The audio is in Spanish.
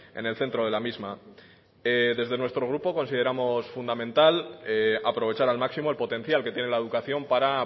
en el centro de la misma desde nuestro grupo consideramos fundamental aprovechar al máximo el potencial que tiene la educación para